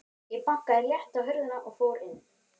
Ég bankaði létt á hurðina og fór inn.